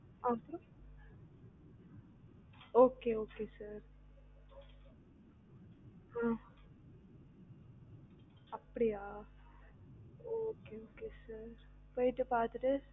அப்டியா okay okay sir ஆஹ் அப்டியா okay okay sir போயிட்டு பாத்துட்டு